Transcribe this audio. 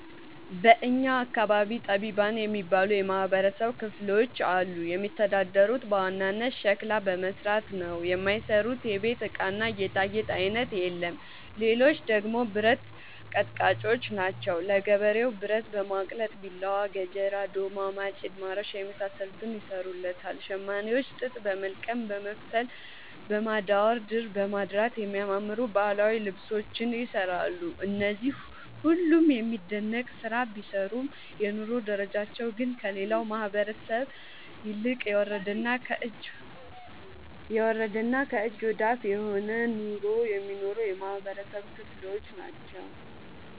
በእኛ አካባቢ ጠቢባን የሚባሉ የማህበረሰብ ክፍሎች አሉ። የሚተዳደሩት በዋናነት ሸክላ በመስራት ነው። የማይሰሩት የቤት እቃና ጌጣጌጥ አይነት የለም ሌቹ ደግሞ ብረት አቀጥቃጭጮች ናቸው። ለገበሬው ብረት በማቅለጥ ቢላዋ፣ ገጀራ፣ ዶማ፣ ማጭድ፣ ማረሻ የመሳሰሉትን ይሰሩለታል። ሸማኔዎች ጥጥ በወልቀም በመፍተል፣ በማዳወር፣ ድር በማድራት የሚያማምሩ ባህላዊ ልብሶችን ይሰራሉ። እነዚህ ሁሉም የሚደነቅ ስራ ቢሰሩም የኑሮ ደረጃቸው ግን ከሌላው ማህበረሰብ ይልቅ የወረደና ከእጅ ወዳፍ የሆነ ኑሮ የሚኖሩ የማህበረሰብ ክሎች ናቸው።